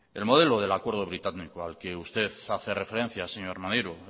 el modelo del acuerdo británico escocés al que usted hace referencia señor maneiro